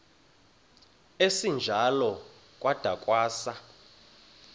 esinjalo kwada kwasa